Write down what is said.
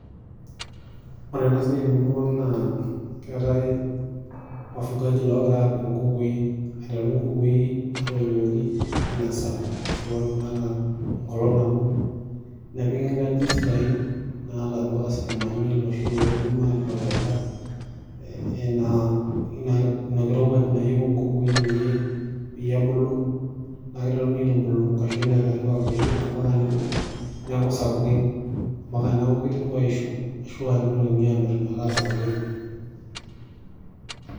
Ore ena siai temurrua ang' naa keetai wafugaji loogira aapik inkukui, aiteru inkukui naatoioki ina saa ashu aa naata enkolong' nabo nepiki inkajijik sidain naata amapaka isitimani iloshi loidim aiprovaida ina kirowaj nayeu inkukui peye ebulu naa ekiteruni aitubulu inkashuin aiteru aakutiti ampaka nebulu neeku sapukin ampaka neiteru aisho ashu aa neitokini amirr naa asapukin.